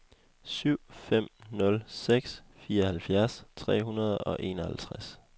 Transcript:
syv fem nul seks fireoghalvfjerds tre hundrede og enoghalvtreds